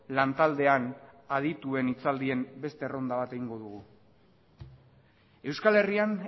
lantaldean adituen hitzaldien beste erronda bat egingo dugu euskal herrian